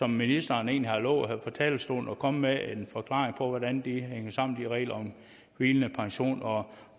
ministeren egentlig har lovet her fra talerstolen altså at komme med en forklaring på hvordan de regler om hvilende pension og